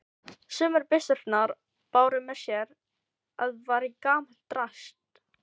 Sumar byssurnar báru með sér að vera gamalt drasl.